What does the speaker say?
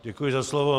Děkuji za slovo.